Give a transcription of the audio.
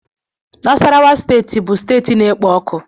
Nasarawa steeti bụ steeti na-ekpo ọkụ